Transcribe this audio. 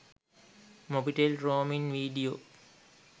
mobitel roaming video